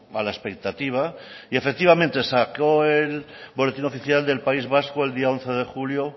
a la expectativa y efectivamente saco el boletín oficial del país vasco del once de julio